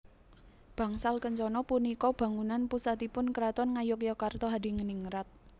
Bangsal Kencana punika bangunan pusatipun Kraton Ngayogyakarta Hadiningrat